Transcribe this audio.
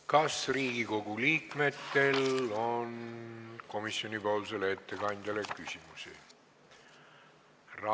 Kas Riigikogu liikmetel on komisjoni ettekandjale küsimusi?